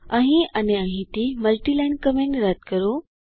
અહીં અને અહીંથી મલ્ટી લાઈન કમેન્ટ રદ કરો